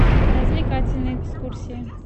развлекательные экскурсии